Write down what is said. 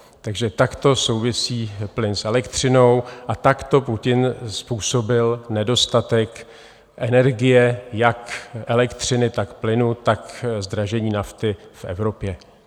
Takže takto souvisí plyn s elektřinou a takto Putin způsobil nedostatek energie - jak elektřiny, tak plynu, tak zdražení nafty v Evropě.